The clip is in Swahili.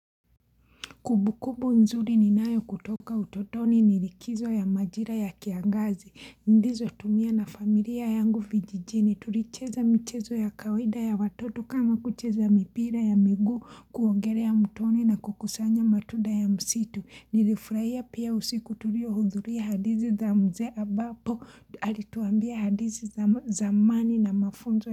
Kubu kubu nzuri ninayo kutoka utotoni nilikizo ya majira ya kiangazi, ndizo tumia na familia yangu vijijini, tulicheza michezo ya kawaida ya watoto kama kucheza mipira ya miguu kuongelea ya mtoni na kukusanya matunda ya msitu, nilifurahia pia usiku tulio hudhuria hadithi za mzee ambapo, alituambia hadithi zamani na mafunzo.